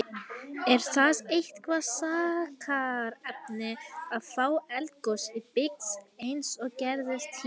Er það eitthvað þakkarefni að fá eldgos í byggð, eins og gerðist hér?